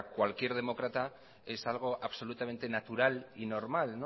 cualquier demócrata es algo absolutamente natural y normal